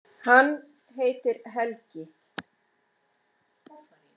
Hann heitir Helgi.